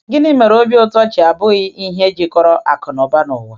Gịnị mere obi ụtọ ji abụghị ihe jikọrọ akụnụba ụwa?